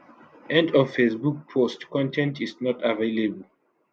end of facebook post con ten t is not available